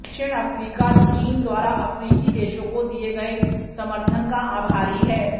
दक्षिण अफ्रीका चीन द्वारा अफ्रीकी देशों को दिये गये समर्थन का आभारी है